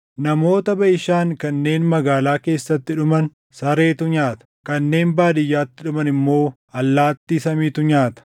Namoota Baʼishaan kanneen magaalaa keessatti dhuman sareetu nyaata; kanneen baadiyyaatti dhuman immoo allaattii samiitu nyaata.”